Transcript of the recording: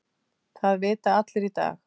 Það vita allir í dag.